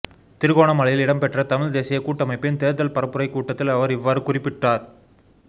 திருகோணமலையில் இடம் பெற்ற தமிழ் தேசியக் கூட்டமைப்பின் தேர்தல் பரப்புரைக் கூட்டத்தில் அவர் இவ்வாறு குறிப்பிட்டார்